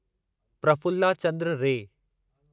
Prafulla Chandra रे